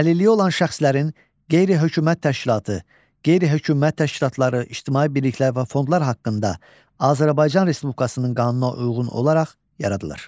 Əlilliyi olan şəxslərin, qeyri-hökumət təşkilatı, qeyri-hökumət təşkilatları, ictimai birliklər və fondlar haqqında Azərbaycan Respublikasının qanununa uyğun olaraq yaradılır.